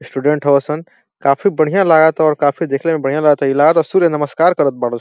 Student हव सन। काफी बढ़िया लागता और काफी देखले में बढ़िया लागता। इ लागता सूर्य नमस्कार करत बार स् --